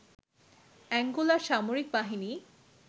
অ্যাঙ্গোলার সামরিক বাহিনী